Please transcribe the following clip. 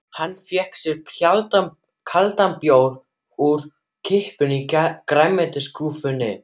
Hann fékk sér kaldan bjór úr kippu í grænmetisskúffunni.